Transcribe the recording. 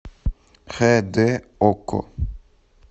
хэ дэ окко